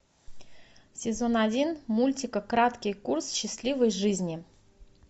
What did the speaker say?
сезон один мультика краткий курс счастливой жизни